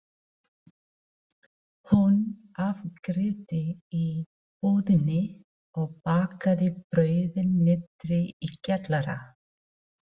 Hún afgreiddi í búðinni og bakaði brauðin niðri í kjallara.